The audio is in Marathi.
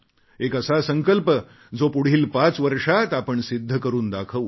एक असा संकल्प जो पुढील पाच वर्षांत आपण सिद्ध करून दाखवू